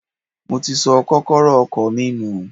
Mo ti sọ kókọ́rọ́ ọkọ̀ mi nù.